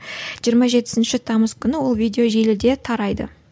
жиырма жетісінші тамыз күні ол видео желіде тарайды